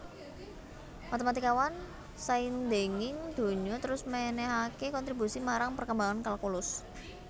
Matématikawan saindhenging donya terus mènèhaké kontribusi marang perkembangan kalkulus